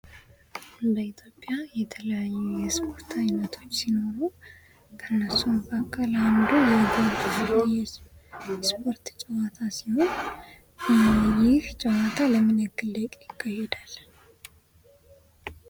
በኢትዮጵያ የተለያዩ የስፖርት አይነቶች ሲኖሩ ከነሱም መካከል የኳስ ጨዋታ ሲሆን ይህ ጨዋታ ለምን ያህል ደቂቃ ይካሄዳል?